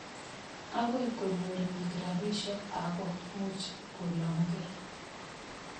Akoi konyor piik rapisyek ako much kolong' kei.